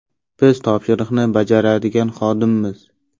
Biz topshiriqni bajaradigan xodimmiz.